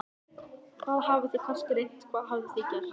Hvað, þið hafið kannski reynt, hvað hafið þið gert?